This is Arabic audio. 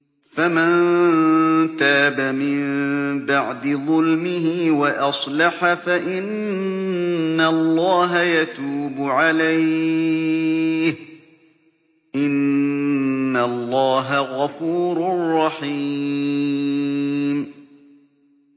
فَمَن تَابَ مِن بَعْدِ ظُلْمِهِ وَأَصْلَحَ فَإِنَّ اللَّهَ يَتُوبُ عَلَيْهِ ۗ إِنَّ اللَّهَ غَفُورٌ رَّحِيمٌ